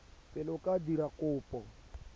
pele o ka dira kopo